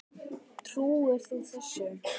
Trúir þú þessu?